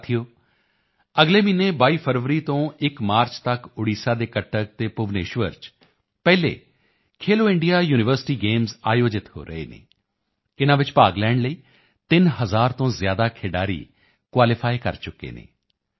ਸਾਥੀਓ ਅਗਲੇ ਮਹੀਨੇ 22 ਫਰਵਰੀ ਤੋਂ 1 ਮਾਰਚ ਤੱਕ ਓਡੀਸ਼ਾ ਦੇ ਕਟਕ ਅਤੇ ਭੁਵਨੇਸ਼ਵਰ ਚ ਪਹਿਲੇ ਖੇਲੋ ਇੰਡੀਆ ਯੂਨੀਵਰਸਿਟੀ ਗੇਮਸ ਆਯੋਜਿਤ ਹੋ ਰਹੇ ਹਨ ਇਨ੍ਹਾਂ ਵਿੱਚ ਭਾਗ ਲੈਣ ਲਈ 3 ਹਜ਼ਾਰ ਤੋਂ ਜ਼ਿਆਦਾ ਖਿਡਾਰੀ ਕੁਆਲੀਫਾਈ ਕਰ ਚੁੱਕੇ ਹਨ